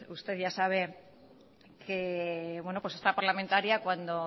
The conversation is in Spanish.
usted ya sabe que esta parlamentaria cuando